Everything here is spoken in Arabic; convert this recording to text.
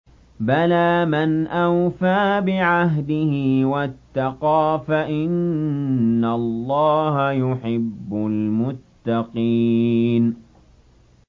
بَلَىٰ مَنْ أَوْفَىٰ بِعَهْدِهِ وَاتَّقَىٰ فَإِنَّ اللَّهَ يُحِبُّ الْمُتَّقِينَ